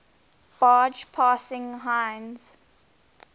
barge passing heinz